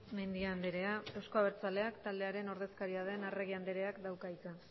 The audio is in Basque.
mendia andrea euzko abertzaleak taldearen ordezkaria den arregi andreak dauka hitza